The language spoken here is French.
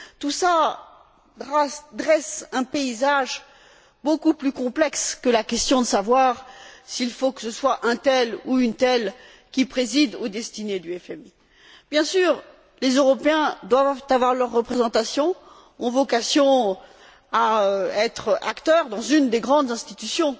Tout cela dresse un paysage beaucoup plus complexe que la question de savoir s'il faut que ce soit un tel ou une telle qui préside aux destinées du FMI. Bien sûr, les Européens doivent avoir leur représentation, ont vocation à être acteurs dans une des grandes institutions